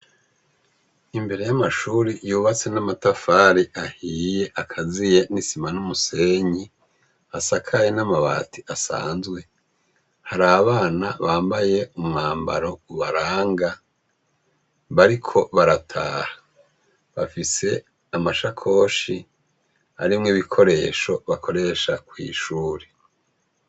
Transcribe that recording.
Imbere y'amashure yubatse n' amatafar'ahiy' akaziye n isima n'umusenyi, asakaye n'amabat' asanzwe, har' abana bambaye umwambaro ubaranga bariko barataha bafis' amashakosh' arimw' ibikoresho bakoresha kwishuri.